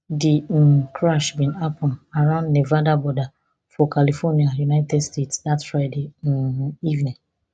di um crash bin happun around nevada border for california united states dat friday um evening